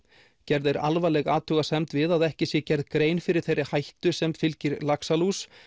gerð er alvarleg athugasemd við að ekki sé gerð grein fyrir þeirri hættu sem fylgir laxalús